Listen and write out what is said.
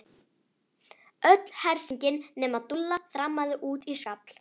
Öll hersingin nema Dúlla þrammaði út í skafl.